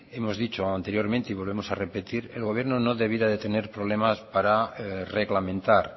hemos dicho anteriormente y volvemos a repetir el gobierno no debiera de tener problemas para reglamentar